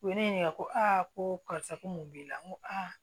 U ye ne ɲininka ko aa ko karisa ko mun b'i la n ko